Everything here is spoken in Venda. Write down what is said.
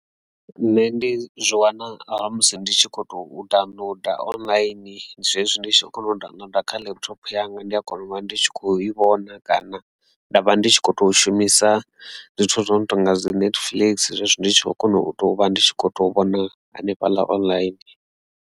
Nṋe ndi zwi wana ha musi ndi tshi kho to downloader online zwezwi ndi tshi kho kona u downloader kha laptop yanga ndi a kona u vha ndi tshi kho i vhona kana ndavha ndi kho to shumisa zwithu zwo no tonga dzi netflix zwezwi ndi tshi kho kona u tovha ndi tshi kho to vhona hanefhaḽa online.